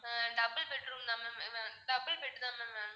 அஹ் double bedroom தான் ma'am ஹம் double bed தான் ma'am வேணும்